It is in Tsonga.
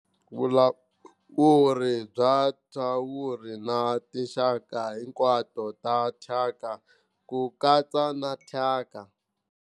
Vulawuri bya thyawuri na tinxaka hinkwato ta thyaka, ku katsa na thyaka.